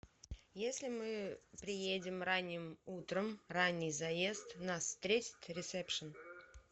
если мы приедем ранним утром ранний заезд нас встретит ресепшн